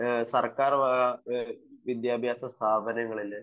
സർക്കാർ വക വിദ്യാഭ്യാസ സ്ഥാപനങ്ങളിലെ